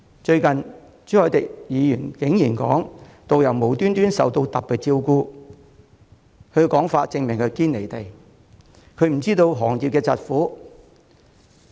最近朱凱廸議員竟然說導遊無故受到特別照顧，他的說法證明他"堅離地"，不知道行業的疾苦。